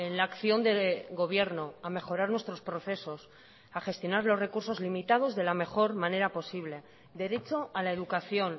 la acción de gobierno a mejorar nuestros procesos a gestionar los recursos limitados de la mejor manera posible derecho a la educación